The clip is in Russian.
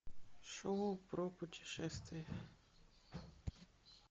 шоу про путешествия